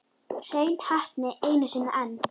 Hrein heppni einu sinni enn.